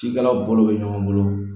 Cikɛlaw bolo bɛ ɲɔgɔn bolo